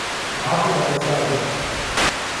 maxaa ku dhacay Saalim